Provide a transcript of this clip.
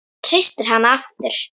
Hann hristir hana aftur.